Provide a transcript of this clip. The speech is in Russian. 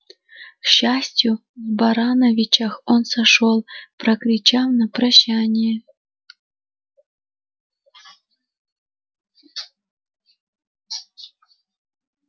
к счастью в барановичах он сошёл прокричав на прощание